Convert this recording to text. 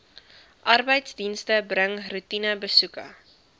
arbeidsdienste bring roetinebesoeke